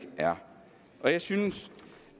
er der jeg synes